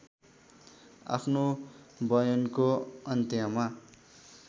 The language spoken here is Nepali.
आफ्नो बयानको अन्त्यमा